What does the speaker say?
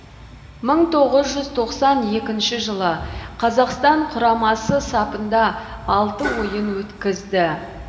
мың тоғыз жүз тоқсан екінші жылы қазақстан құрамасы сапында алты ойын өткізді